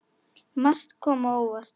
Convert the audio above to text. Margt kom á óvart.